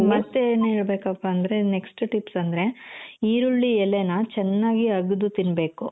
ಮತ್ತೆ ಏನ್ ಹೇಳ್ಬೇಕಪ್ಪಾ ಅಂದ್ರೆ next tips ಅಂದ್ರೆ ಈರುಳ್ಳಿ ಎಲೆನ ಚೆನ್ನಾಗಿ ಅಗ್ದು ತಿನ್ನ್ಬೇಕು